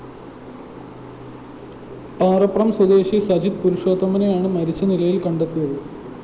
പാറപ്രം സ്വദേശി സജിത് പുരുഷോത്തമനെയാണ് മരിച്ച നിലയില്‍ കണ്ടെത്തിയത്